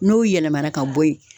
N'o yɛlɛmana ka bɔ yen